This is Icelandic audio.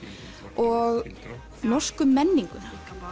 og norsku menninguna